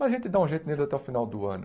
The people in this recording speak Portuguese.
Mas a gente dá um jeito neles até o final do ano.